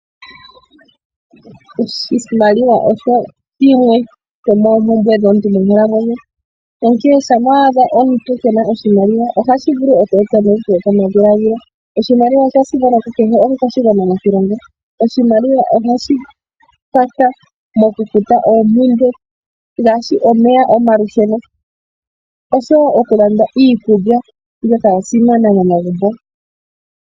Oshimaliwa osho shimwe shomoompumbwe dhomuntu monkalamwenyo. Shampa wa adha omuntu kee na oshimaliwa ohashi vulu oku eta uuvu wopamadhiladhilo. Oshimaliwa osha simana kukehe omukwashigwana moshilongo. Oshimaliwa ohashi kwatha mokufuta oompumbwe ngaashi omeya, omalusheno noshowo okulanda iikulya mbyoka ya simana momagumbo.